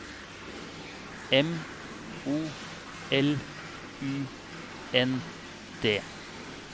M O L U N D